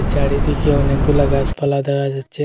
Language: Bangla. চারিদিকে অনেকগুলা গাসপালা দেখা যাচ্ছে।